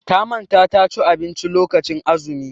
Ta manta ta ci abinci lokacin azumi.